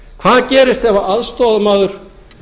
hvað gerist ef aðstoðarmaður